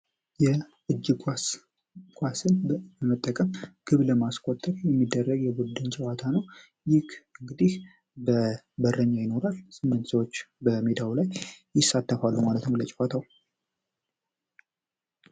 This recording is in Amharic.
የእጅግ ኳስ ኳስን በመጠቀም ግብ ለማስቆጠቅ የሚደረግ የቡድን ጨዋታ ነው። ይክ እንግዲህ በበረኛ ይኖራል ስምንት ሰዎች በሜዳው ላይ ይሳተፋሉ ማለትም ለጨዋታው።